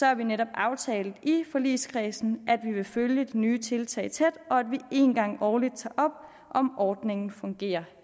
har vi netop aftalt i forligskredsen at vi vil følge det nye tiltag tæt og at vi en gang årligt tager op om ordningen fungerer